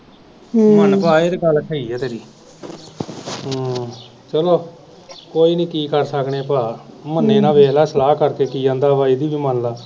ਮੰਨ ਭਾ ਇਹ ਤੇ ਗੱਲ ਸਹੀ ਆ ਤੇਰੀ ਚਲੋ ਕੋਈ ਨਹੀਂ ਕੀ ਕਰ ਸਕਦੇ ਭਰਾ ਮੰਨੇ ਨਾ ਵੇਖਲਾ ਸਲਾਹ ਕਰਕੇ ਕੀ ਆਂਦਾ ਵਾ ਇਹਦੀ ਵੀ ਮੰਨ ਲਾ।